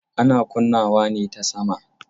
Ana kunnawa ne ta sama.